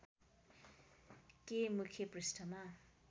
के मुख्य पृष्‍ठमा